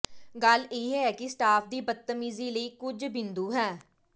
ਗੱਲ ਇਹ ਹੈ ਕਿ ਸਟਾਫ ਦੀ ਬਦਤਮੀਜ਼ੀ ਲਈ ਕੁਝ ਬਿੰਦੂ ਹੈ